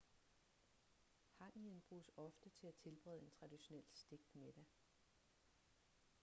hangien bruges ofte til at tilberede en traditionel stegt middag